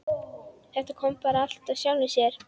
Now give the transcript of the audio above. Þetta kom bara allt af sjálfu sér.